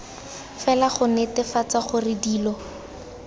fela go netefatsa gore dilo